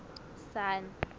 sun